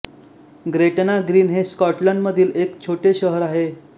Gretna Green हे स्कॉटलंडमधील एक छोटे शहर आहे